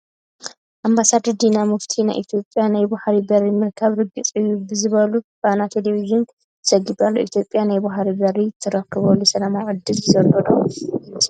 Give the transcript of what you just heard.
ኣምባሳደር ዲና ሙፍቲ ናይ ኢትዮጵያ ናይ ባሕሪ በሪ ምርካብ ርግፅ እዩ ከምዝበሉ ፋና ቴለብዥን ዘጊቡ ኣሎ፡፡ ኢትዮጵያ ናይ ባሕሪ በሪ ትረኽበሉ ሰላማዊ ዕድል ዘሎ ዶ ይመስለኩም?